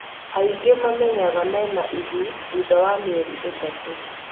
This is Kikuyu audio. aingĩ mamenyaga mena ihu thutha wa mĩeri ta itatũ